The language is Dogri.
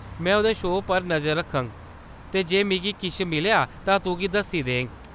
में उंʼदे शो पर नजर रक्खङ ते जे मिगी किश मिलेआ तां तुगी दस्सी देङ।